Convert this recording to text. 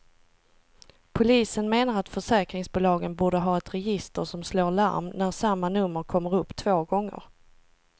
Polisen menar att försäkringsbolagen borde ha ett register som slår larm när samma nummer kommer upp två gånger.